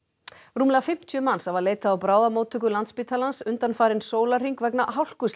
rúmlega fimmtíu manns hafa leitað á bráðamóttöku Landspítalans undanfarinn sólarhring vegna